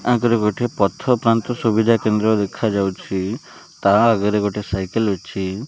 ଆଗରେ ଗୋଟିଏ ପଥ ପାନ୍ଥ ସୁବିଧା କେନ୍ଦ୍ର ଦେଖା ଯାଉଛି ତା ଆଗରେ ଗୋଟେ ସାଇକେଲ ଅଛି।